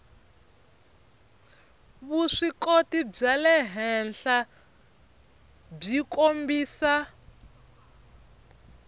vuswikoti bya le henhlabyi kombisa